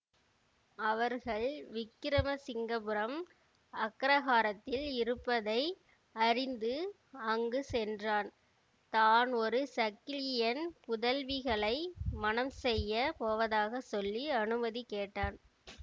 அவர்கள் விக்கிரமசிங்கபுரம் அக்கிரகாரத்தில் இருப்பதை அறிந்து அங்கு சென்றான் தான் ஒரு சக்கிலியன் புதல்விகளை மணம் செய்ய போவதைச் சொல்லி அனுமதி கேட்டான்